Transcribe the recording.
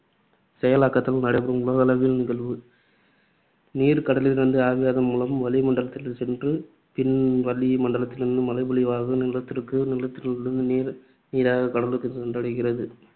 செயலாக்கத்தால் நடைபெறும் உலகளாவிய நிகழ்வு. நீர் கடலிலிருந்து ஆவியாதல் மூலம் வளி மண்டலத்திற்குச் சென்று, பின் வளி மண்டலத்திலிருந்து மழைப்பொழிவாக நிலத்திற்கு, நிலத்திலிருந்து நீர் நீராக கடலுக்கும் சென்றடைகிறது.